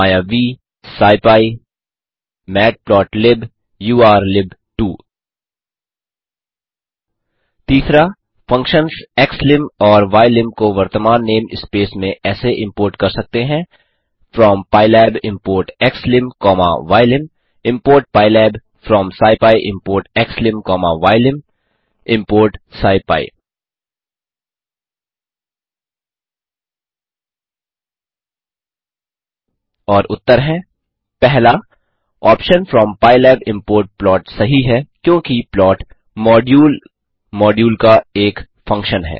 मायावी scipy matplotlib उर्लिब2 3फंक्शन्स xlim और ylim को वर्तमान नेम स्पेस में ऐसे इम्पोर्ट कर सकते हैं from pylab import xlim comma ylim import pylab from scipy import xlim comma ylim import scipy और उत्तर हैं 1ऑप्शन फ्रॉम पाइलैब इम्पोर्ट प्लॉट सही है क्योंकि प्लॉट मॉड्यूल मॉड्यूल का एक फंक्शन है